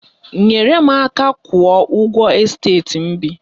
Nyere m aka kwụọ ụgwọ esteti m bi